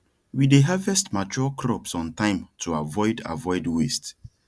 we dey harvest mature crops on time to avoid avoid waste